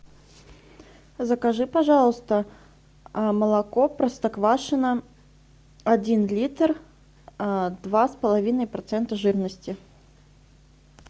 закажи пожалуйста молоко простоквашино один литр два с половиной процента жирности